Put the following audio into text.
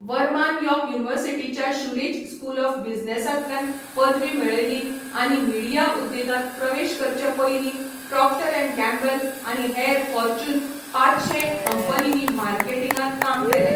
वर्मान York युनिवर्सिटीच्या Schulich school of बिझनेसांतल्यान पदवी मेळयली आनी मिडिया उद्देगांत प्रवेश करचे पयलीं प्रॉक्टर अँड गॅम्बल आनी हेर फॉर्च्यून पांचशें कंपनींनी मार्केटिंगांत काम केलें.